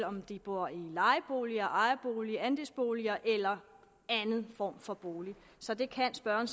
om de bor i lejebolig ejerbolig andelsbolig eller anden form for bolig så det kan spørgeren